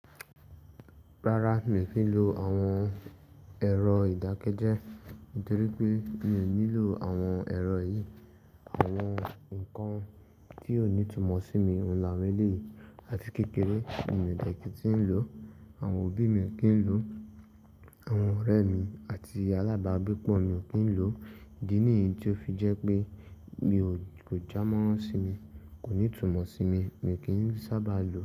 Rárá, mi ò kí ń lo àwọn ẹ̀rọ ìdákẹ́jẹ́, torí pé mi ò nílò àwọn ẹ̀rọ yìí. Àwọn nǹkan tí ó ní ìtumọ̀ sí mi, ohun nì àwọn eleyii àti kékeré mi ò dà kìn tí ń lò, àwọn òbí mi kì ń lò, àwọn ọ̀rẹ́ mi àti alábàágbépọ̀ mi ò kí ń lò. Ìdí ní tí ó fi jẹ́ pé mi kò já mọ́ sími, kò ní ìtumọ̀ sí mi, mi kì í sábà lò.